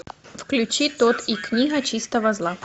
включи тодд и книга чистого зла